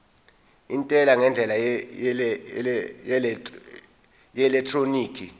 intela ngendlela yeelektroniki